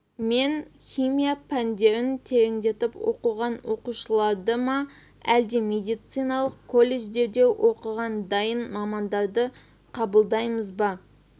мен химия пәндерін тереңдетіп оқыған оқушыларды ма әлде медициналық колледжерде оқыған дайын мамандарды қабылдаймыз ба